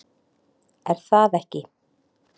Er það ekki?